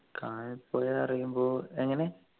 കാന പോയി പറയുമ്പോ എങ്ങനെ